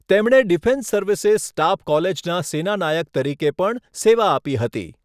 તેમણે defence services staff કોલેજના સેનાનાયક તરીકે પણ સેવા આપી હતી.